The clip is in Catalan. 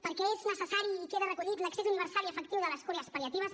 perquè és necessari i queda recollit l’accés universal i efectiu de les cures pal·liatives